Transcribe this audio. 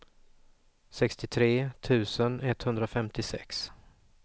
sextiotre tusen etthundrafemtiosex